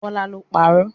Bọĺá ló ń parọ́